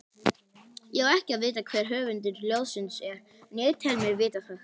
Ég á ekki að vita hver höfundur ljóðsins er, en ég tel mig vita það.